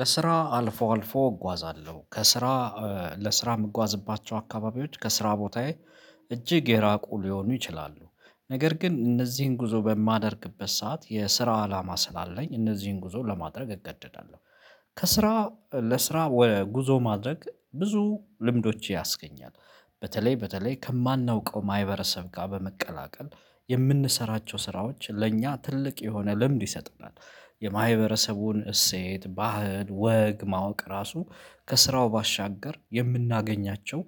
ለስራ አልፎ አልፎ እጓዛለሁ፤ ከስራ ለስራ የምጓዝባቸው አካባቢዎች ከስራ ቦታዬ እጅግ የራቁ ሊሆኑ ይችላሉ፤ ነገር ግን እነዚህን ጉዞ በማደርግበት ሰዓት የስራ አላማ ስላለኝ እነዚህን ጉዞ ለማድረግ እገደዳለሁ። ከስራ ለስራ ወደ ጉዞ ማድረግ ብዙ ልምዶች ያስገኛል፤ በተለይ በተለይ ከማናውቀው ማህበረሰብ ጋር በመቀላቀል የምንሰራቸው ስራዎች ለእኛ ትልቅ የሆነ ልምድ ይሰጥናል። የማህበረሰቡን እሴት ባህል ወግ ማወቅ ራሱ ከስራው ባሻገር የምናገኛቸው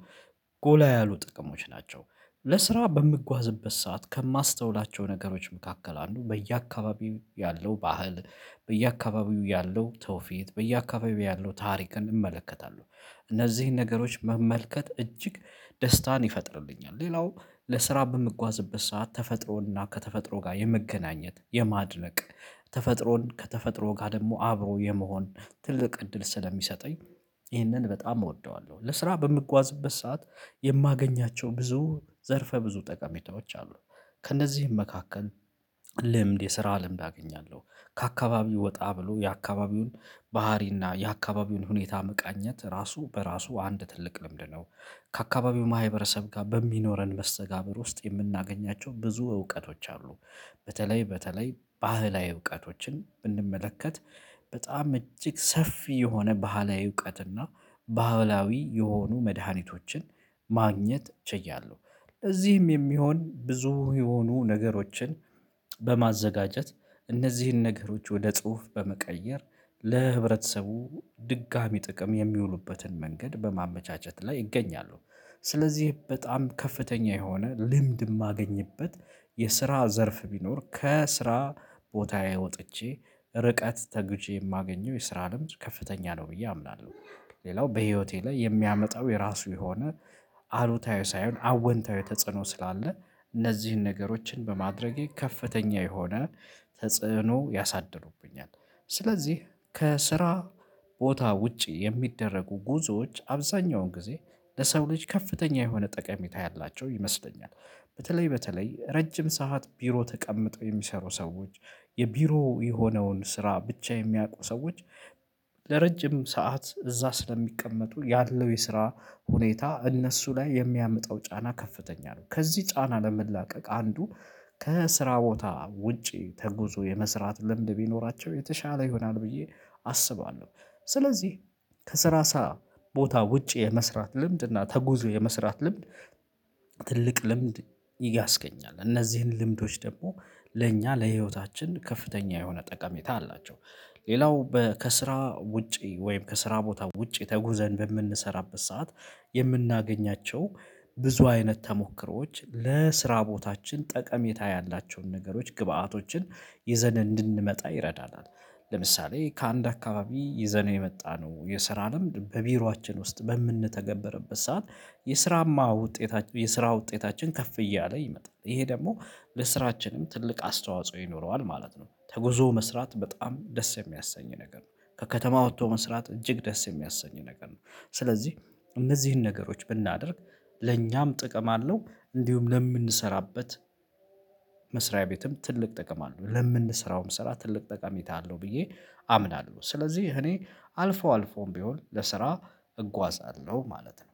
ጎላ ያሉ ጥቅሞች ናቸው። ለስራ በምጓዝበት ሰዓት ከማስተውላቸው ነገሮች መካከል አንዱ በየአካባቢው ያለው ባህል በየአካባቢው ያለው ትውፊት፤ በየአካባቢው ያለው ታሪክን እመለከታለሁ። እነዚህን ነገሮች መመልከት እጅግ ደስታን ይፈጥርልኛ፤ ሌላው ለስራ በምጓዝበት ሰዓት ተፈጥሮና ከተፈጥሮ ጋር የመገናኘት የማድረቅ ተፈጥሮን ከተፈጥሮ ጋር ደግሞ አብሮ የመሆን ትልቅ እድል ስለሚሰጠኝ ይሄንን በጣም እወደዋለሁ። ለስራ በምጓዝበት ሰዓት የማገኛቸው ብዙ ዘርፈ ብዙ ጠቀሜታዎች አሉ። ከእነዚህም መካከል ልምድ የስራ ልምድ አገኛለሁ። ከአካባቢው ወጣ ብሎ የአካባቢውን ባህሪና የአካባቢውን ሁኔታ መቃኘት ራሱ በራሱ አንድ ትልቅ ልምድ ነው። ከአካባቢው ማህበረሰብ ጋር በሚኖረን መሰተጋብር ውስጥ የምናገኛቸው ብዙ እውቀቶች አሉ በተለይ በተለይ ባህላዊ እውቀቶችን ብንመለከት በጣም እጅግ ሰፊ የሆነ ባህላዊ እውቀትና፤ ባህላዊ የሆኑ መድሃኒቶችን ማግኘት ችያለሁ፤ ለዚህም የሚሆን ብዙ የሆኑ ነገሮችን በማዘጋጀት እነዚህን ነገሮች ወደ ጽሁፍ በመቀየር ለህብረተሰቡ ድጋሚ ጥቅም የሚውሉበትን መንገድ በማመቻቸት ላይ ይገኛሉ። ስለዚህ በጣም ከፍተኛ የሆነ ልምድ የማገኝበት የስራ ዘርፍ ቢኖር ከስራ ቦታዬ ወጥቼ ርቀት ተጉዤ የማገኘው የስራ ልምድ ከፍተኛ ነው ብዬ አምናለሁ። ሌላው በህይወቴ ላይ የሚያመጣው የራሱ የሆነ አሉታዊ ሳይሆን አዎንታዊ ተጽዕኖ ስላለ እነዚህን ነገሮችን በማድረጌ ከፍተኛ የሆነ ተጽዕኖ ያሳድሩብኛል። ስለዚህ ከስራ ቦታ ውጪ የሚደረጉ ጉዞዎች አብዛኛውን ጊዜ ለሰው ልጅ ከፍተኛ የሆነ ጠቀሜታ ያላቸው ይመስለኛል። በተለይ በተለይ ረጅም ሰዓት ቢሮ ተቀምጠው የሚሰሩ ሰዎች የቢሮው የሆነውን ስራ ብቻ የሚያውቁ ሰዎች ለረጅም ሰዓት እዛ ስለሚቀመጡ ያለው የስራ ሁኔታ እነሱ ላይ የሚያምጣው ጫና ከፍተኛ ነው። ከዚህ ጫና ለመላቀቅ አንዱ ከስራ ቦታ ውጪ ተጉዞ የመስራት ልምድ ቢኖራቸው የተሻለ ይሆናል ብዬ አስባለሁ። ስለዚህ ከስራ ሰዓት ቦታ ውጪ የመስራት ልምድ እና ተጉዞ የመስራት ልምድ ትልቅ ልምድ ያስገኛል። እነዚህን ልምዶች ደግሞ ለእኛ ለህይወታችን ከፍተኛ የሆነ ጠቀሜታ አላቸው። ሌላው ከስራ ውጪ ወይም ከስራ ቦታ ውጪ ተጉዘን በምንሰራበት ሰዓት የምናገኛቸው ብዙ አይነት ተሞክሮዎች ለስራ ቦታችን ጠቀሜታ ያላቸውን ነገሮች ግብአቶችን ይዘን እንድንመጣ ይረዳናል። ለምሳሌ ከአንድ አካባቢ ይዘነው የመጣነው የስራ ለምድ በቢሮአችን ውስጥ በምንተገበረበት ሰዓት የስራማ ውጤታችን የስራ ውጤታችን ከፍ እያለ ይመጣል ይሄ ደግሞ ለስራችንም ትልቅ አስተዋጽኦ ይኖረዋል ማለት ነው። ተጉዞ መስራት በጣም ደስ የሚያሰኝ ነገር ነው። ከከተማ ወጥቶ መስራት እጅግ ደስ የሚያሰኝ ነገር ነው። ስለዚህ እነዚህን ነገሮች ብናደርግ ለኛም ጥቅም አለው እንዲሁም ለምንሰራበት መስሪያ ቤትም ትልቅ ጥቅም አለው ለምንሰራውም ስራ ትልቅ ጠቀሜታ አለው ብዬ አምናለሁ። ስለዚህ እኔ አልፎ አልፎም ቢሆን ለስራ እጓዛለሁ ማለት ነው።